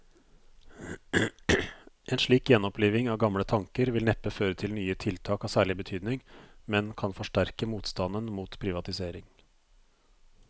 En slik gjenoppliving av gamle tanker vil neppe føre til nye tiltak av særlig betydning, men kan forsterke motstanden mot privatisering.